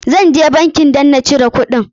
Zan je bankin dan na cire kuɗin.